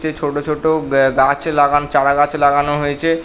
চেয়ে ছোট ছোট ব্যা গাছ লাগানো চারা গাছ লাগানো হয়েছে ।